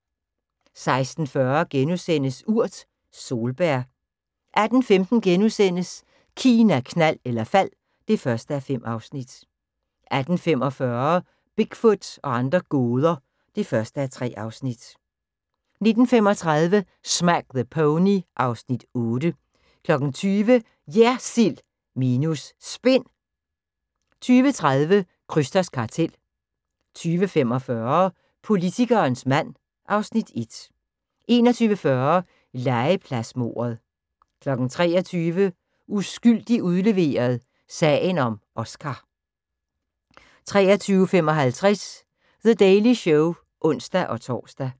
16:40: Urt: Solbær * 18:15: Kina, knald eller fald (1:5)* 18:45: Bigfoot og andre gåder (1:3) 19:35: Smack the Pony (Afs. 8) 20:00: JERSILD minus SPIN 20:30: Krysters kartel 20:45: Politikerens mand (Afs. 1) 21:40: Legepladsmordet 23:00: Uskyldig udleveret – sagen om Oscar 23:55: The Daily Show (ons-tor)